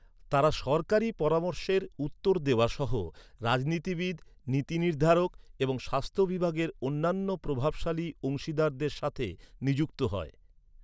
তারা সরকারি পরামর্শের উত্তর দেওয়া সহ রাজনীতিবিদ, নীতিনির্ধারক এবং স্বাস্থ্য বিভাগের অন্যান্য প্রভাবশালী অংশীদারদের সাথে নিযুক্ত হয়।